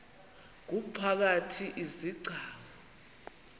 ngumphakathi izi gcawu